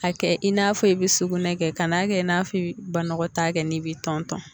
A kɛ i n'a fɔ i bi sugunɛ kɛ, ka n'a kɛ, i n'a f'i bi banakɔta kɛ, n'i bi tɔn tɔn.